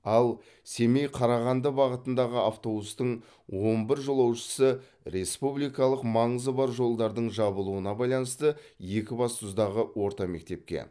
ал семей қарағанды бағытындағы автобустың он бір жолаушысы республикалық маңызы бар жолдардың жабылуына байланысты екібастұздағы орта мектепке